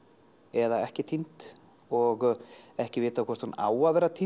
eða ekki týnd og ekki vitað hvort hún á að vera týnd